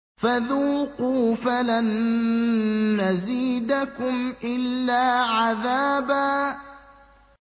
فَذُوقُوا فَلَن نَّزِيدَكُمْ إِلَّا عَذَابًا